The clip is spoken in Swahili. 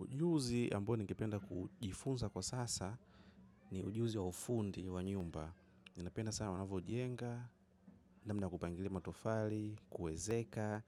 Ujuzi ambao ningependa kujifunza kwa sasa ni ujuzi wa ufundi wa nyumba. Ni napenda sana wanavyojenga, namna kupangilia matofali, kuezeka,